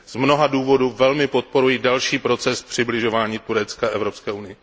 Z mnoha důvodů velmi podporuji další proces přibližování Turecka Evropské unii.